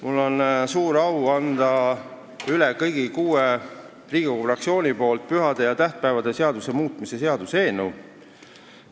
Mul on suur au anda kõigi kuue Riigikogu fraktsiooni nimel üle pühade ja tähtpäevade seaduse muutmise seaduse eelnõu.